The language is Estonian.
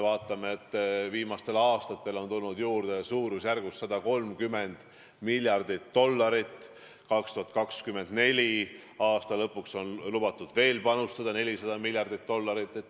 Viimastel aastatel on tulnud juurde suurusjärgus 130 miljardit dollarit, 2024. aasta lõpuks on lubatud veel panustada 400 miljardit dollarit.